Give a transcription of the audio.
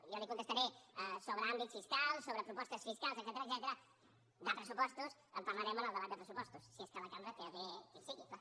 jo li contestaré sobre àmbits fiscals sobre propostes fiscals etcètera de pressupostos en parlarem en el debat de pressupostos si és que la cambra té a bé que hi sigui clar